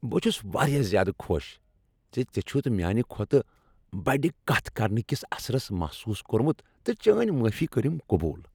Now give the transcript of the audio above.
بہٕ چُھس واریاہ زیادٕ خوش زِ ژے چھتھ میانِہ کھۄتہٕ بَڈِ کتھ کرنہٕ کِس اثرس محسوس کورمُت تہٕ چٲنۍ معٲفی کٔرٕم قبول ۔